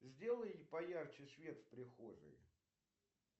сделай поярче свет в прихожей